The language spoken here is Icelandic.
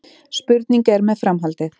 Spurning er með framhaldið